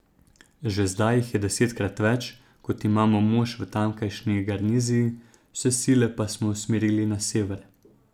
Že zdaj jih je desetkrat več, kot imamo mož v tamkajšnji garniziji, vse sile pa smo usmerili na Sever.